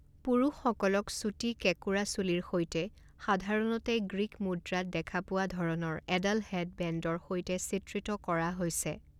পুৰুষসকলক চুটি কেঁকোৰা চুলিৰ সৈতে, সাধাৰণতে গ্ৰীক মুদ্ৰাত দেখা পোৱা ধৰণৰ এডাল হেডবেণ্ডৰ সৈতে চিত্ৰিত কৰা হৈছে।